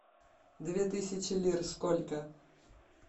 две тысячи лир сколько